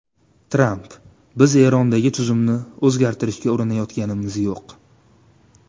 Tramp: Biz Erondagi tuzumni o‘zgartirishga urinayotganimiz yo‘q.